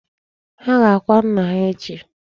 Ha ga-akwa nnà ha echi.